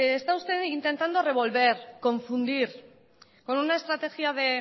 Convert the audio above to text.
está usted intentando revolver confundir con una estrategia bueno